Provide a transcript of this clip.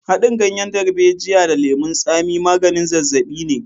Haɗin ganyen darbejiya da lemon tsami maganin zazzaɓi ne.